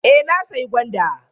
Eh na sayi gwanda.